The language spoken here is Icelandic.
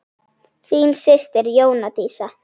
Þín systir Jóna Dísa.